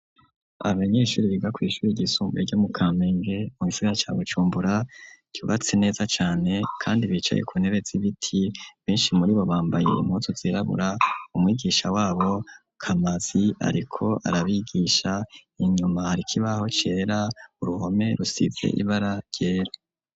Abanyeshuri biga kwishuri ryisumbuye ryo mu kamenge, mu gisaigara ca bujumbura, ryubatse neza cane. kandi bicaye ku ntebe z'ibiti , benshi muri bo bambaye impuzu zirabura, umwigisha wabo , kamazi, ariko arabigisha inyuma hariko ikibaho cera , uruhome rusize ibara ryera.